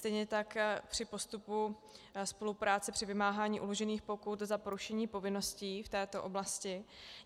Stejně tak při postupu spolupráce při vymáhání uložených pokut za porušení povinností v této oblasti.